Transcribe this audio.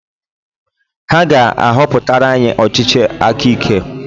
Ha ga-ahọpụtara anyị ọchịchị akike